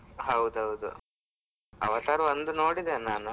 ಹೌದು ಹೌದು. Avatar ಒಂದು ನೋಡಿದೆ ನಾನು .